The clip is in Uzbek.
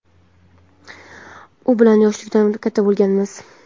u bilan yoshlikdan katta bo‘lganmiz.